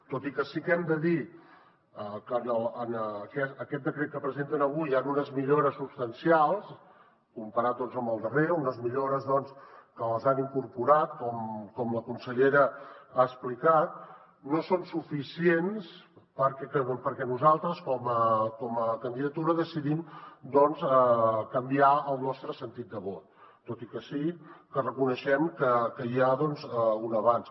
tot i que sí que hem de dir que en aquest decret que presenten avui hi han unes millores substancials comparat amb el darrer unes millores doncs que les han incorporat com la consellera ha explicat no són suficients perquè nosaltres com a candidatura decidim doncs canviar el nostre sentit de vot tot i que sí que reconeixem que hi ha un avanç